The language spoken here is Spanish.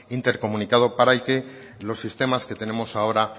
intercomunicado para el que los sistemas que tenemos ahora